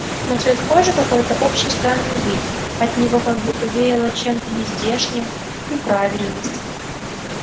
но цвет кожи и какой-то общий странный вид от него как будто веяло чем-то нездешним неправильным